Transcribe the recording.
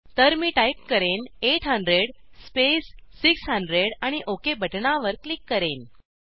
तर मी टाईप करेन 800 स्पेस 600 आणि ओक बटणावर क्लिक करेन